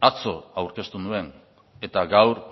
atzo aurkeztu nuen eta gaur